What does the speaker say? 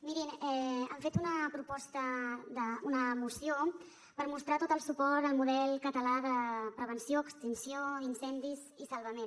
mirin han fet una moció per mostrar tot el suport al model català de prevenció extinció d’incendis i salvament